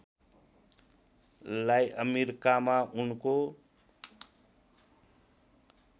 लाई अमेरिकामा उनको